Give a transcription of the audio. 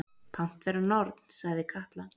Pant vera norn, sagði Katla.